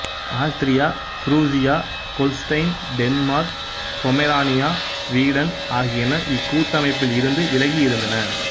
Austria Prussia Holstein Denmark Pomerania Sweden ஆகியன இக்கூட்டமைப்பில் இருந்து விலகி இருந்தன